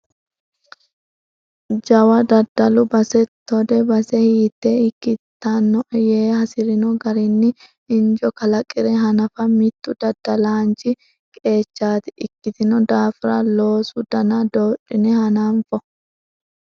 Jawa daddalu base tode base hiite ikkittanoe yee hasirino garinni injo kalaqire hanafa mitu daddalanchi qeechati ikkitino daafira loosu dana dodhine hananfo.